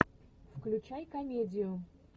включай комедию